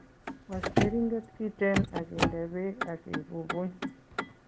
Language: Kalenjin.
Was keringet kiten ak inde beek ak ibubuny.